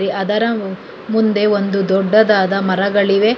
ಅದರ ಮುಂದೆ ಒಂದು ದೊಡ್ಡದಾದ ಮರಗಳಿವೆ.